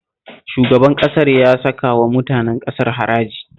Shugaban ƙasar ya saka wa mutanen ƙasar haraji